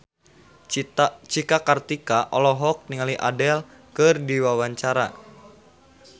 Cika Kartika olohok ningali Adele keur diwawancara